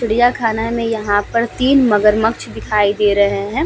चिड़िया खाना में यहां पर तीन मगरमच्छ दिखाई दे रहे हैं।